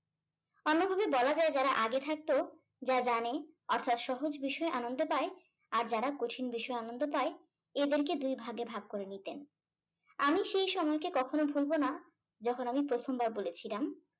এভাবে বলা যায় যারা আগে থাকতো যা জানে অর্থাৎ সহজ বিষয়ে আনন্দ পায় আর যারা কঠিন বিষয়ে আনন্দ পায় এদেরকে দুই ভাগে ভাগ করে নিতেন। আমি সেই সময়কে কখনো ভুলবো না যখন আমি প্রথমবার বলেছিলাম